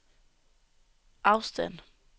afstand